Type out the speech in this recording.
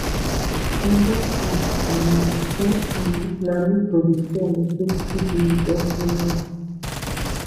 dem don tok um sey um na me go dey pay electricity bills every month